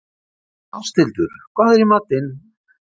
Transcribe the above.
Ásthildur, hvað er í matinn?